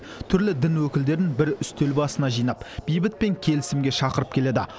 түрлі дін өкілдерін бір үстел басына жинап бейбіт пен келісімге шақырып келеді